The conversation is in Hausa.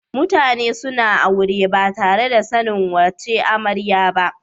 MutAnan da suna aure batare da sanin wace amaryar ba